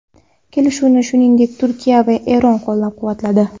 Kelishuvni, shuningdek, Turkiya va Eron qo‘llab-quvvatladi.